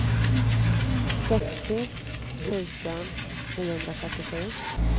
sextio tusen niohundratrettiosju